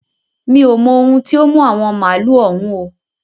Mi ò mo ohun tí ó mú àwọn màálu òun o.